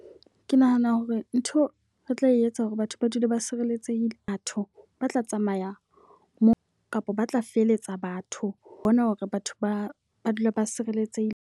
Ke nahana hore ntho re tla etsa hore batho ba dule ba sireletsehile. Batho ba tla tsamaya moo kapa ba tla feletsa batho ho bona hore batho ba ba dule ba sireletsehile.